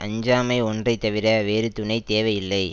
அஞ்சாமை ஒன்றை தவிர வேறு துணை தேவையில்லை